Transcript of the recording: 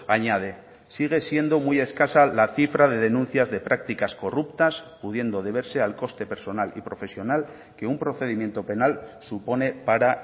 añade sigue siendo muy escasa la cifra de denuncias de prácticas corruptas pudiendo deberse al coste personal y profesional que un procedimiento penal supone para